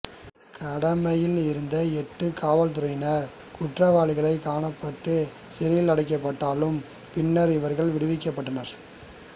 கடமையில் இருந்த எட்டு காவற்துறையினர் குற்றவாளிகளாகக் காணப்பட்டு சிறையிலடைக்கப்பட்டாலும் பின்னர் இவர்கள் விடுவிக்கப்பட்டனர்